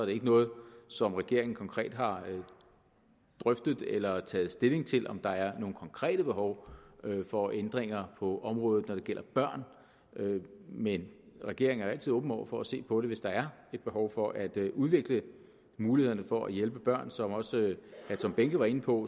ikke noget som regeringen konkret har drøftet eller taget stilling til om der er nogle konkrete behov for ændringer på området når det gælder børn men regeringen er altid åben over for at se på det hvis der er et behov for at udvikle mulighederne for at hjælpe børn som også herre tom behnke var inde på